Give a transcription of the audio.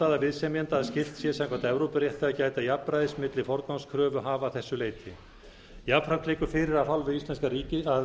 viðsemjenda að skylt sé samkvæmt evrópurétti að gæta jafnræðis milli forgangskröfuhafa að þessu leyti jafnframt liggur fyrir að